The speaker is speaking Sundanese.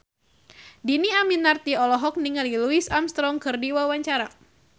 Dhini Aminarti olohok ningali Louis Armstrong keur diwawancara